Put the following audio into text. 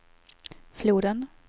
floden